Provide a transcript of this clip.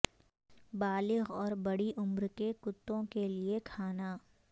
بالغ اور بڑی عمر کے کتوں کے لئے کھانا